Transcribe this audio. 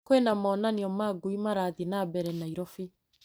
Kwĩna monanio ma ngui marathiĩ na mbere Naĩrobĩ .